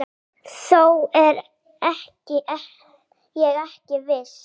Þó er ég ekki viss.